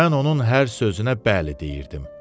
Mən onun hər sözünə bəli deyirdim.